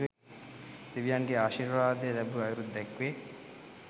දෙවියන්ගේ ආශිර්වාදය ලැබූ අයුරුද දැක්වේ.